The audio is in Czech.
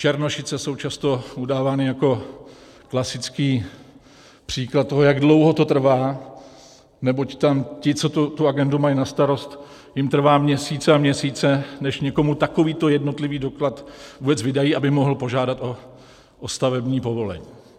Černošice jsou často udávány jako klasický příklad toho, jak dlouho to trvá, neboť tam ti, co tu agendu mají na starost, jim trvá měsíce a měsíce, než někomu takovýto jednotlivý doklad vůbec vydají, aby mohl požádat o stavební povolení.